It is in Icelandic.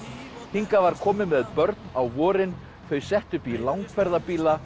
hingað var komið með börn á vorin þau sett upp í